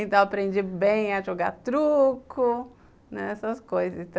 Então, aprendi bem a jogar truco, né, essas coisas.